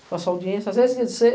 com a sua audiência. As vezes